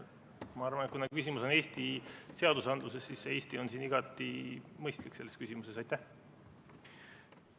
Ma arvan, et kuna küsimus on Eesti seadusandluses, siis see "Eesti" on selles küsimuses igati mõistlik.